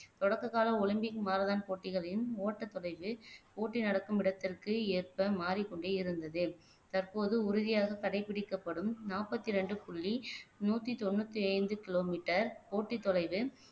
தொடக்க காலம் Olympic marathon போட்டிகளையும் ஓட்ட தொலைவு போட்டி நடக்கும் இடத்திற்கு ஏற்ப மாறிக்கொண்டே இருந்தது தற்போது உறுதியாக கடைபிடிக்கப்படும் நாற்பத்தி இரண்டு புள்ளி நூத்தி தொண்ணூத்தி ஐந்து கிலோமீட்டர் போட்டி தொலைவு